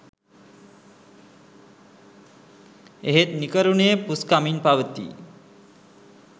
එහෙත් නිකරුණේ පුස්කමින් පවතියි